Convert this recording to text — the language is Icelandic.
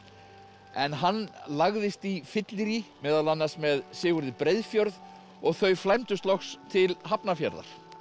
en hann lagðist í fyllerí meðal annars með Sigurði Breiðfjörð og þau flæmdust loks til Hafnarfjarðar